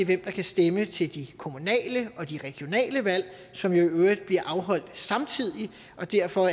der kan stemme til de kommunale og de regionale valg som jo i øvrigt bliver afholdt samtidig og derfor